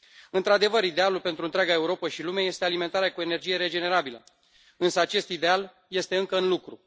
Într adevăr, idealul pentru întreaga Europă și lume este alimentarea cu energie regenerabilă, însă acest ideal este încă în lucru.